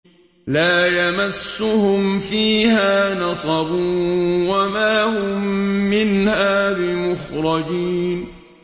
لَا يَمَسُّهُمْ فِيهَا نَصَبٌ وَمَا هُم مِّنْهَا بِمُخْرَجِينَ